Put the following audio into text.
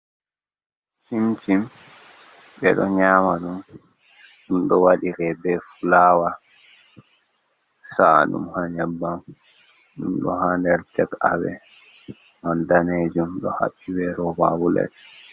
Chimcim ɓe ɗo nyama ɗum, ɗum ɗo waɗire be fulawa sa'aɗum ha nyabbam, dumdo ha der take awee danejom do habbi ɓe rova bulet